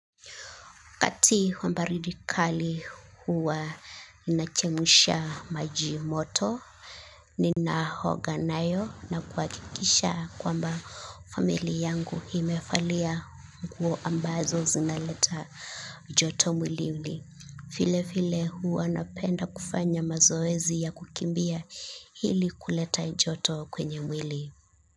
Wakati wa baridi kali huwa ninachemsha majimoto, ninaoga nayo na kuhakikisha kwamba familia yangu imevalia nguo ambazo zinaleta joto mwilini. Vilevile huwa napenda kufanya mazoezi ya kukimbia hili kuleta joto kwenye mwili.